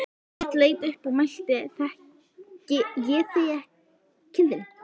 Björn leit upp og mælti: Þekki ég þig, kindin?